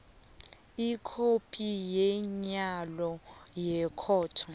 ikhophi yomyalo wekhotho